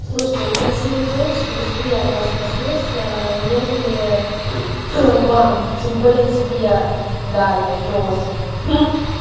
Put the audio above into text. слушайте он красивой тёлочке быстрее отдаст насос нежели вам тем более тебе даме носу